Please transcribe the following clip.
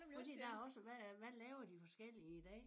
Fordi der er også hvad øh hvad laver de forskellige i dag